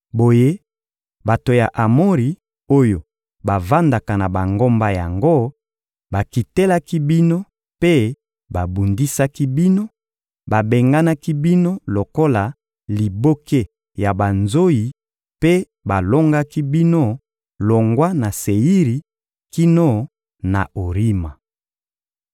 Boye, bato ya Amori oyo bavandaka na bangomba yango bakitelaki bino mpe babundisaki bino, babenganaki bino lokola liboke ya banzoyi mpe balongaki bino longwa na Seiri kino na Orima.